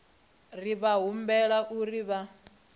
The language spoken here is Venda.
ri vha humbela uri vha